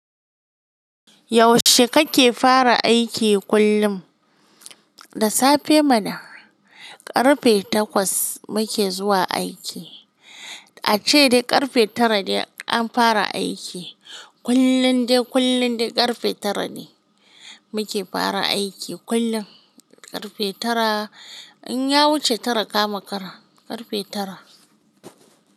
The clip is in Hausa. Yaushe kake fara aiki kullum? Da safe mana. Ƙarfe takwas muke zuwa aiki. Ace dai ƙarfe tara de, an fara aiki. Kullun dai, kullun dai, ƙarfe tara ne, muke fara aiki. Kullum ƙarfe tara. In ya wuce tara, ka makara. Ƙarfe tara.